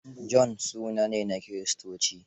John suna ne na kiristanci.